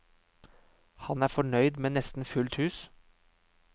Han er fornøyd med nesten fullt hus.